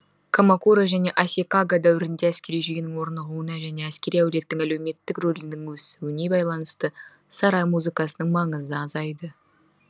комакуро және асикага дәуірінде әскери жүйенің орнығуына және әскери әулеттің өлеуметтік рөлінің өсуіне байланысты сарай музыкасының маңызы азайды